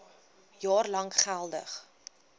jaar lank geldig